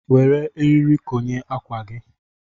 Were eriri konye ákwà gị.